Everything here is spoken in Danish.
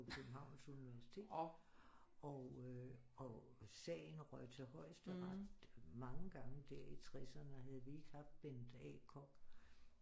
På Københavns universitet og øh og sagen røg til højesteret mange gange der i 60'erne havde vi ikke haft Bent A. Koch